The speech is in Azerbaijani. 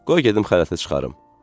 Qoy gedim xələtə çıxarım.